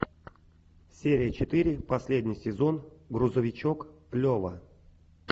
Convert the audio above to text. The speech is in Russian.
серия четыре последний сезон грузовичок лева